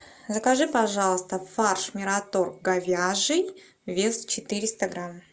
закажи пожалуйста фарш мираторг говяжий вес четыреста грамм